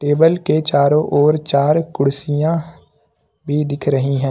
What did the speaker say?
Table के चारों ओर चार कुर्सियां भी दिख रही हैं।